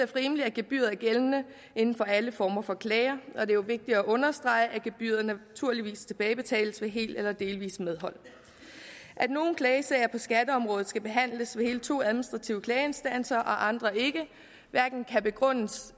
rimeligt at gebyret er gældende inden for alle former for klager og det er jo vigtigt at understrege at gebyrerne naturligvis tilbagebetales ved helt eller delvist medhold at nogle klagesager på skatteområdet skal behandles ved hele to administrative klageinstanser og andre ikke kan hverken begrundes